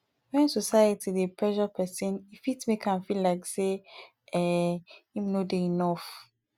when society dey pressure person e fit make am feel like sey um im no dey enough